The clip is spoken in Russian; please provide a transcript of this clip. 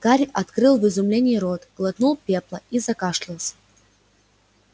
гарри открыл в изумлении рот глотнул пепла и закашлялся